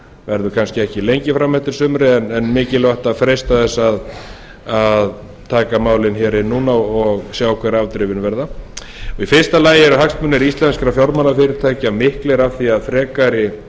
verður kannski ekki lengi fram eftir sumri en mikilvægt að freista þess að taka málin hér inn núna og sjá hver afdrifin verða í fyrsta lagi eru hagsmunir íslenskra fjármálafyrirtækja miklir af því að frekari